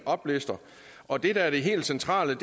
oplister og det der er det helt centrale